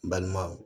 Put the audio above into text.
N balima